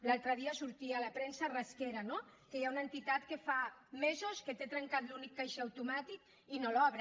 l’altre dia sortia a la premsa rasquera no que hi ha una entitat que fa mesos que té trencat l’únic caixer automàtic i no l’obre